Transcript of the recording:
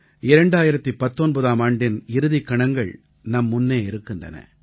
2019ஆம் ஆண்டின் இறுதிக் கணங்கள் நம்முன்னே இருக்கின்றன